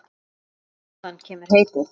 Þaðan kemur heitið.